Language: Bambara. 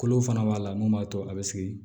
Kolo fana b'a la mun b'a to a bɛ sigi